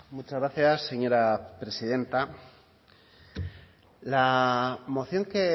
muchas gracias señora presidenta la moción que